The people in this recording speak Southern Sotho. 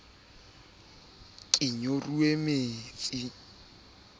ha di a pepeswa ho